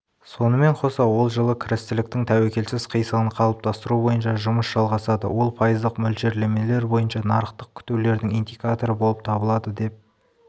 сонымен қоса ол жылы кірістіліктің тәуекелсіз қисығын қалыптастыру бойынша жұмыс жалғасады ол пайыздық мөлшерлемелер бойынша нарықтық күтулердің индикаторы болып табылады деп